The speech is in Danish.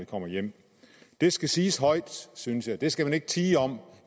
kommer hjem det skal siges højt synes jeg det skal man ikke tie om ud